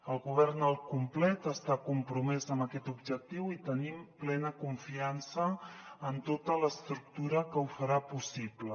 el govern al complet està compromès amb aquest objectiu i tenim plena confiança en tota l’estructura que ho farà possible